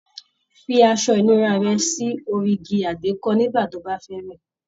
Fí aṣọ ìnura rẹ sórí igi àgbékọ́ nigba ti o ba fẹ wẹ.